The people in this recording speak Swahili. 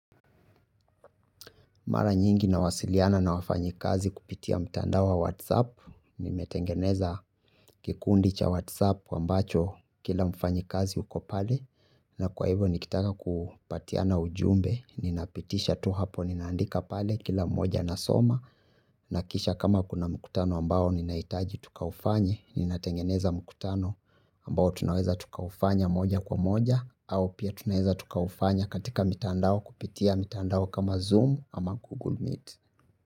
Mara nyingi nawasiliana na wafanyikazi kupitia mtandao wa WhatsApp, nimetengeneza kikundi cha WhatsApp ambacho kila mfanyikazi yuko pale, na kwa hivyo nikitaka kupatiana ujumbe, ninapitisha tu hapo, ninaandika pale kila mmoja anasoma, na kisha kama kuna mkutano ambao ninahitaji tukaufanye, ninatengeneza mkutano ambao tunaweza tukaufanya moja kwa moja, au pia tunaeza tukaufanya katika mitandao kupitia mitandao kama Zoom ama Google Meet.